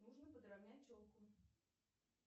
нужно подравнять челку